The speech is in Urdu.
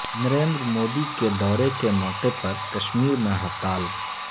نریندر مودی کے دورے کے موقعے پر کشمیر میں ہڑتال